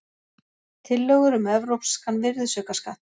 Tillögur um evrópskan virðisaukaskatt